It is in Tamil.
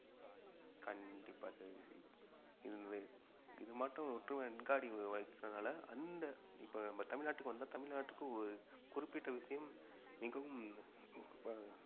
கண்டிப்பா சதீஷ் இது இது மட்டும் ஒற்றுமை அங்காடி அந்த இப்ப நம்ம தமிழ்நாட்டுக்கு வந்த தமிழ்நாட்டுக்கு ஒரு குறிப்பிட்ட விஷயம் மிகவும் இப்ப